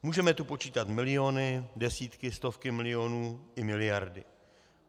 Můžeme tu počítat miliony, desítky, stovky milionů, i miliardy.